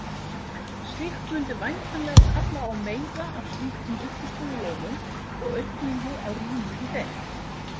Slíkt mundi væntanlega kalla á meira af slíkum uppistöðulónum og aukningu á rými í þeim.